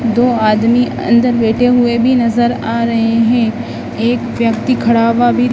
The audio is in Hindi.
दो आदमी अंदर बैठे हुए भी नजर आ रहे हैं एक व्यक्ति खड़ा हुआ भी--